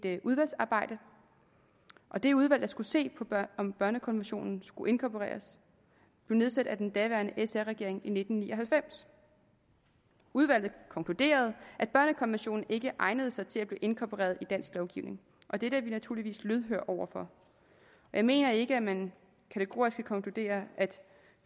et udvalgsarbejde det udvalg der skulle se på om børnekonventionen skulle inkorporeres blev nedsat af den daværende sr regering i nitten ni og halvfems udvalget konkluderede at børnekonventionen ikke egnede sig til at blive inkorporeret i dansk lovgivning dette er vi naturligvis lydhøre over for jeg mener ikke at man kategorisk kan konkludere at